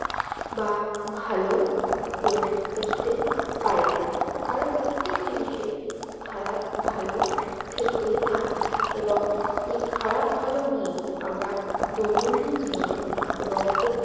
বা ভালো হয়ে উঠতে পারেনা কারণ প্রত্যেক জিনিস এর খারাপ ভালো থেকে থাকে এবং এই খারাপ ভালো নিয়েই আমরা দৈনন্দিন জীবনের এবং